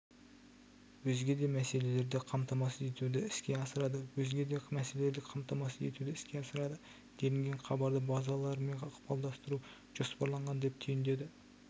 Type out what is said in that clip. өзге де мәселелерді қамтамасыз етуді іске асырады өзге де мәселелерді қамтамасыз етуді іске асырады делінген хабарда базаларымен ықпалдастыру жоспарланған деп түйіндеді